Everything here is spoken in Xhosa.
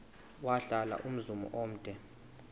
wahlala umzum omde